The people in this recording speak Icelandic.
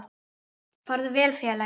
Farðu vel félagi.